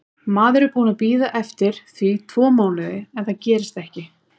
Maður er búinn að bíða eftir því tvo mánuði en það gerist ekki.